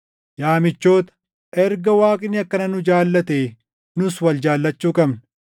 Yaa michoota, erga Waaqni akkana nu jaallatee nus wal jaallachuu qabna.